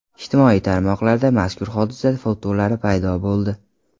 Ijtimoiy tarmoqlarda mazkur hodisa fotolari paydo bo‘ldi.